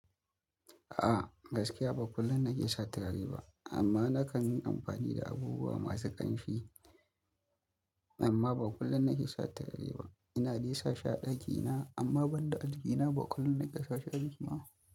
A'a, gaskiya ba kullum na ke sa turare ba, amma na kan yi amfani da abubuwa masu ƙanshi. Amma ba kullum na ke sa turare ba. Ina dai sasha a ɗakina, amma ban da algina ba kullum nake sa shi jiki ba.